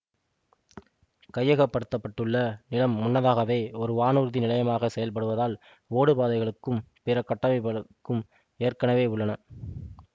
கையகப்படுத்தப்பட்டுள்ள நிலம் முன்னதாகவே ஒரு வானூர்தி நிலையமாக செயல்படுவதால் ஓடுபாதைகளுக்கும் பிற கட்டமைப்புகளுக்கும் ஏற்கனவே உள்ளன